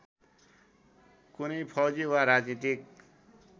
कुनै फौजी वा राजनीतिक